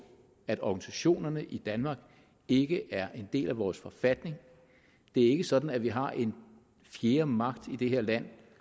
at organisationerne i danmark ikke er en del af vores forfatning det er ikke sådan at vi har en fjerde magt i det her land